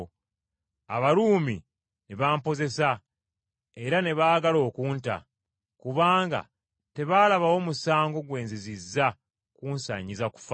Abaruumi ne bampozesa, era ne baagala okunta, kubanga tebaalabawo musango gwe nzizizza gunsaanyiza kufa.